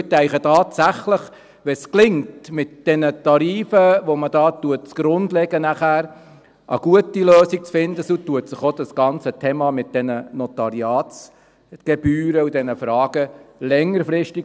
Denn ich denke tatsächlich, wenn es gelingt, mit den Tarifen, die man hier zugrunde legt, nachher eine gute Lösung zu finden, beruhigt sich auch dieses ganze Thema um die Notariatsgebühren und diese Fragen längerfristig.